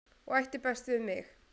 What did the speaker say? og ætti best við mig